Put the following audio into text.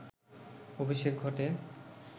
অভিষেক ঘটে